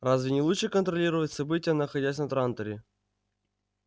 разве не лучше контролировать события находясь на транторе